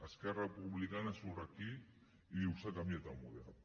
esquerra republicana surt aquí i diu s’ha canviat el model